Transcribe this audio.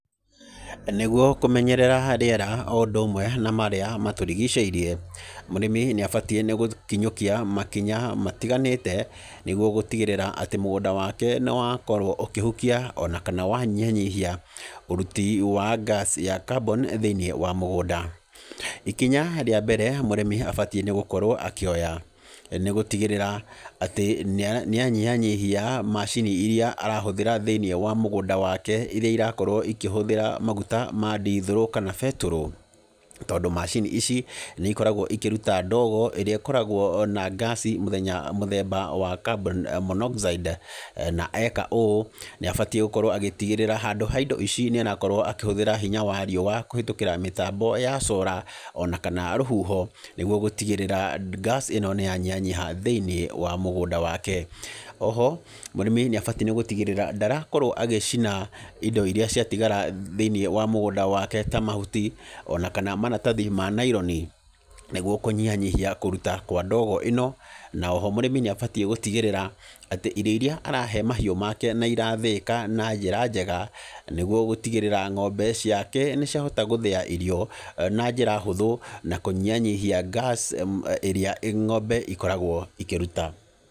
Nĩguo kũmenyerera rĩera o ũndũ ũmwe na marĩa matũrigicĩirie, mũrĩmi nĩ abatiĩ nĩ gũkinyũkia makinya matiganĩte, nĩguo gũtigĩrĩra atĩ mũgũnda wake nĩ wakorwo ũkĩhukia, ona kana wanyihanyihia ũruti wa gas ya carbon thĩiniĩ wa mũgũnda. Ikinya rĩa mbere mũrĩmi abatiĩ nĩ gũkorwo akĩoya, nĩ gũtigĩrĩra, atĩ nĩ nĩ anyihanyihia macini irĩa arahũthĩra thĩiniĩ wa mũgũnda wake irĩa irakorwo ikĩhũthĩra maguta ma ndithũrũ kana betũrũ. Tondũ macini ici, nĩ ikoragwo ikĩruta ndogo ĩrĩa ĩkoragwo na ngaci mũthenya mũthemba wa carbon monoxide, na eka ũũ, nĩ abatiĩ gũkorwo agĩtigĩrĩra, handũ ha indo ici nĩ arakorwo akĩhũthĩra hinya wa riũa kũhetũkĩra mĩtambo ya cora, ona kana rũhuho, nĩguo gũtigĩrĩra ngaci ĩno nĩ yanyihanyiha thĩiniĩ wa mũgũnda wake. Oho, mũrĩmi nĩ abati nĩ gũtigĩrĩra, ndarakorwo agĩcina indo irĩa ciatigara thĩiniĩ wa mũgũnda wake ta mahuti, ona kana maratathi ma naironi, nĩguo kũnyihanyihia kũruta kwa ndogo ĩno, na oho mũrĩmi nĩ abatiĩ gũtigĩrĩra, atĩ irio irĩa arahe mahiũ make na irathĩĩka na njĩra njega, nĩguo gũtigĩrĩra ng'ombe ciake nĩ ciahota gũthĩa irio, na njĩra hũthũ, na kũnyihanyihia gas, ĩrĩa ng'ombe ikoragwo ikĩruta.